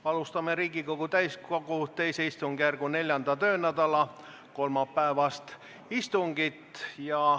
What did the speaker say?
Alustame Riigikogu täiskogu II istungjärgu 4. töönädala kolmapäevast istungit.